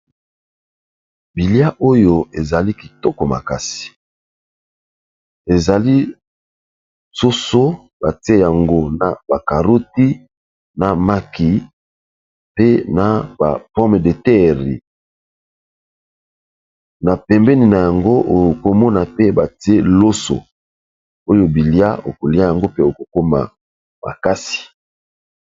Bilia oyo ezali kitoko makasi ezali soso batie yango na bacaroti na maki pe na ba pomedetere na pembeni na yango okomona pe batie loso oyo bilia okolia yango pe okokoma makasi.